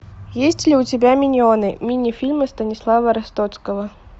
есть ли у тебя миньоны мини фильмы станислава ростоцкого